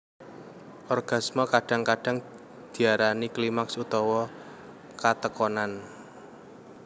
Orgasme kadang kadang diarani klimaks utawa katekonan